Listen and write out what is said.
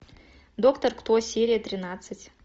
доктор кто серия тринадцать